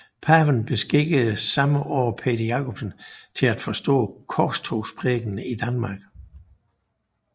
Paven beskikkede samme år Peder Jacobsen til at forestå Korstogsprædikenen i Danmark